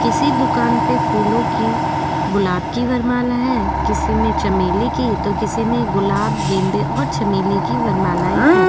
किसी दुकान पे फूलो की गुलाब की वर माला है किसी में चमेली की तो किसी में गुलाब गेंदे और चमली की वर मालाये है।